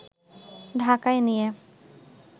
ঢাকায় নিয়ে